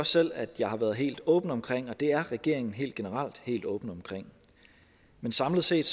selv at jeg har været helt åben omkring og det er regeringen helt generelt helt åben omkring men samlet set